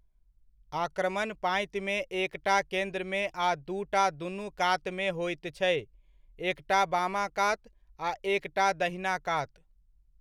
आक्रमण पाँतिमे एकटा केन्द्रमे आ दूटा दुनू कातमे होइत छै एकटा बामा कात आ एकटा दहिना कात।